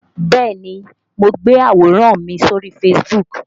Bẹ́ẹ̀ni mo gbé àwòrán mi sórí Facebook